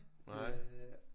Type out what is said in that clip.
Nej?